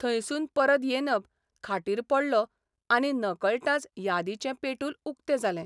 थंयसून परत येनब खाटीर पडलों आनी नकळटांच यादींचें पेटूल उक्तें जालें...